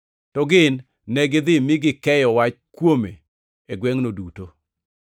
To gin negidhi mi gikeyo wach kuome e gwengʼno duto.